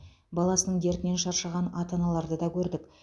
баласының дертінен шаршаған ата аналарды да көрдік